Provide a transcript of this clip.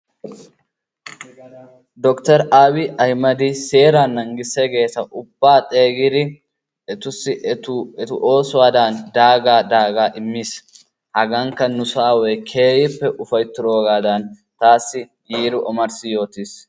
Dokitore Aabiyi Ahimmedi seeraa naagissiyaageeta ubaa xeegidi etussu etu oosuwadan daagaa daagaa immiis, hagankka nusoo aaway keehippe ufayttidoogaadan taassi yiidi ommarssi yotiis,